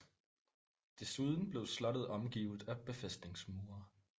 Desuden blev slottet omgivet af befæstningsmure